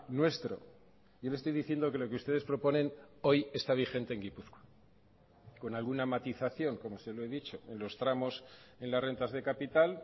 nuestro yo le estoy diciendo que lo que ustedes proponen hoy está vigente en gipuzkoa con alguna matización como se lo he dicho en los tramos en las rentas de capital